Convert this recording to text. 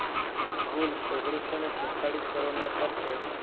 કુલ ઓગણીસો ને છેતતાલીસ કરોડના ખર્ચે